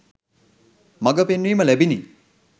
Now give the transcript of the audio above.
මඟ පෙන්වීම ලැබිණි.